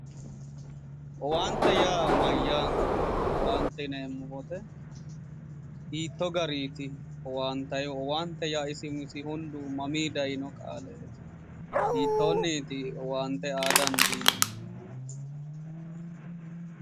Owaante yaa mayyaate owaante yineemmo woyte hiittoo gariiti owaantayhu owaante yaa isi umisi hundu mamii dayino qaaleeti hiittoonniiti owaante aa dandiinannihu